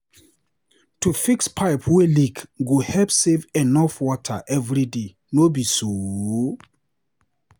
To fix pipe wey leak go help save enough water every day, no be so?